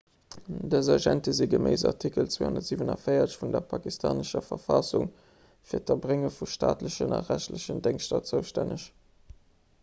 dës agente si geméiss artikel 247 vun der pakistanescher verfassung fir d'erbrénge vu staatlechen a rechtlechen déngschter zoustänneg